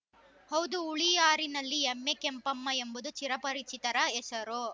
ಹೌದು ಹುಳಿಯಾರಿನಲ್ಲಿ ಎಮ್ಮೆ ಕೆಂಪಮ್ಮ ಎಂಬುದು ಚಿರಪರಿಚಿತರ ಹೆಸರು